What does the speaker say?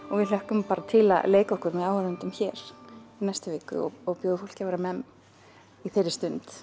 og við hlökkum bara til að leika okkur með áhorfendum hér í næstu viku og og bjóða fólki að vera memm í þeirri stund